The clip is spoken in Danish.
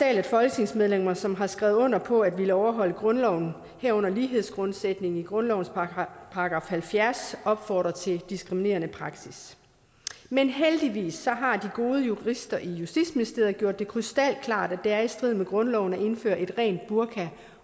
at folketingsmedlemmer som har skrevet under på at ville overholde grundloven herunder lighedsgrundsætningen i grundlovens § halvfjerds opfordrer til diskriminerende praksis men heldigvis har de gode jurister i justitsministeriet gjort det krystalklart at det er i strid med grundloven at indføre et rent burka